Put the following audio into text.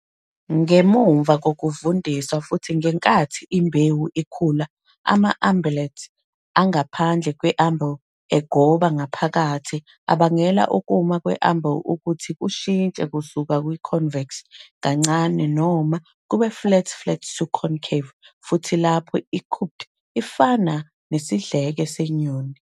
Ngemuva kokuvundiswa futhi ngenkathi imbewu ikhula, ama-umbellet angaphandle we-umbel egoba ngaphakathi abangela ukuma kwe-umbel ukuthi kushintshe kusuka ku-convex kancane noma kube flat flat to concave, futhi lapho i-cupped ifana nesidleke senyoni.